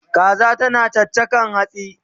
Kaza tana chachakan hatsi